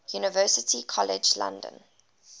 university college london